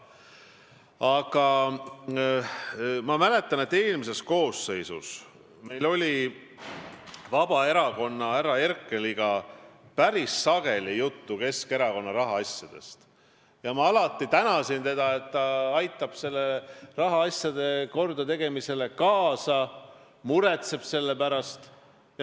Aga ma mäletan, et eelmises koosseisus oli meil Vabaerakonda kuuluva härra Herkeliga päris sageli juttu Keskerakonna rahaasjadest ja ma alati tänasin teda, et ta aitab rahaasjade kordategemisele kaasa ja muretseb selle pärast.